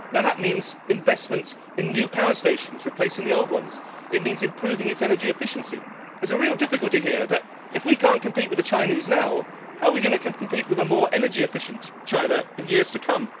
That means investment in new power stations replacing the old ones it means improving its energy efficiency. There is a real difficulty here in that, if we cannot compete with the Chinese now, how are we going to compete with a more energy efficient China in years to come?